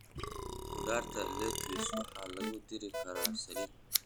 Khudaarta lettuce waxaa lagu dari karaa saladi.